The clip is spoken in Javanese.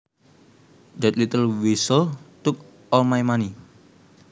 That little weasel took all my money